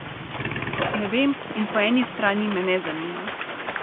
Ne vem in po eni strani me ne zanima.